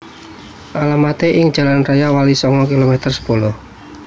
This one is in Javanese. Alamaté ing Jalan Raya Walisongo kilometer sepuluh